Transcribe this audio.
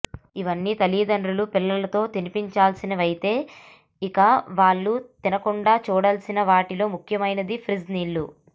ఇవన్నీ తల్లిదండ్రులు పిల్లలతో తినిపించాల్సినవైతే ఇక వాళ్ళు తినకుండా చూడాల్సిన వాటిలో ముఖ్యమైనది ఫ్రిజ్ నీళ్లు